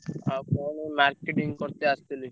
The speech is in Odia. ଆଉ କଣ ଏଇ marketing କରିତେ ଆସଥିଲି।